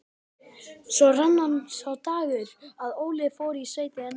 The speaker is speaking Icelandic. Svo rann upp sá dagur að Óli fór í sveitina.